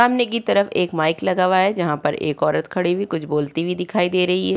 सामने की तरफ एक माइक लगा हुआ है जहाँ पर एक औरत खड़ी हुई कुछ बोलती हुई दिखाई दे रही है।